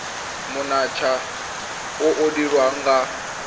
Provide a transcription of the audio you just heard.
monontsha o o dirwang ga